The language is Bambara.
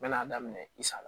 Bɛ n'a daminɛ i sali